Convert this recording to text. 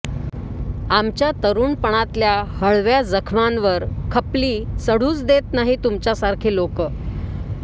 आमच्या तरुणपणातल्या हळव्या जखमांवर खपली चढूच देत नाही तुमच्यासारखे लोकं